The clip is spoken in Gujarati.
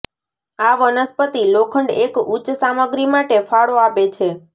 આ વનસ્પતિ લોખંડ એક ઉચ્ચ સામગ્રી માટે ફાળો આપે છે